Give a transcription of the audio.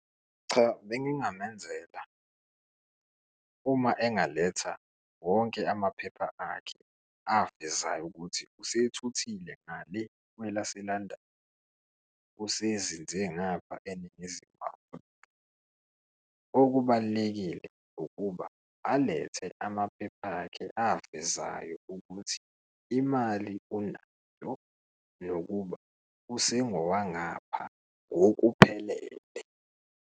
Cha, bengingamenzela uma engaletha wonke amaphepha akhe avezayo ukuthi usethuthile ngale kwelase-London, usezinze ngapha eNingizimu Afrika. Okubalulekile ukuba alethe amaphepha akhe avezayo ukuthi imali unayo nokuba usengowangapha ngokuphelele.